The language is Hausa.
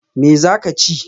Me za ka chi?